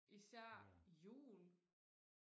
især jul